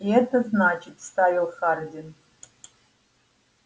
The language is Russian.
и это значит вставил хардин